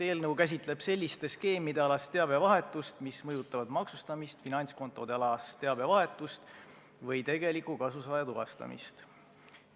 Eelnõu käsitleb selliste skeemide alast teabevahetust, mis mõjutavad maksustamist, finantskontoalast teabevahetust või tegeliku kasusaaja tuvastamist.